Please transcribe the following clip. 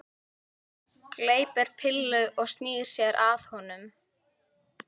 Gleypir pillu og snýr sér að honum.